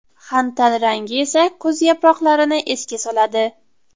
Xantal rangi esa kuz yaproqlarini esga soladi.